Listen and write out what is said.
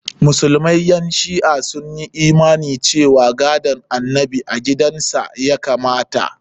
Musulman ƴan shi'a sun yi imani cewa gadon annabi a gidan sa ya kamata.